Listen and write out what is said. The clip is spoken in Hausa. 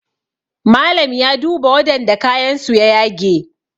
Malam ya duba wadanda kayansu ya yage